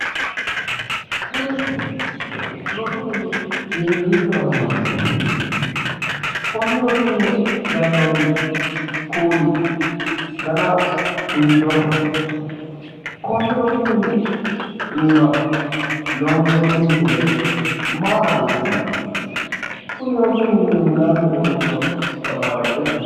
Kuni rosu mini hiikkiicho afamannoho? Konni rosi mine gannoonni kuuli dana hiittooho? Konni rosu mine iima loonsoonni misile maa xawissanno? Kuni rosi mini hundaanni uurritino tamaare me'e kifilete?